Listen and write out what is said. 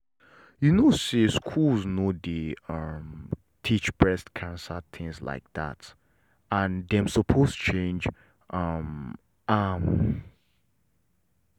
you know say schools no dey um teach breast cancer things like that and dem suppose change um am.